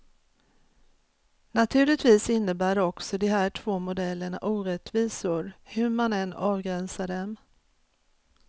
Naturligtvis innebär också de här två modellerna orättvisor, hur man än avgränsar dem.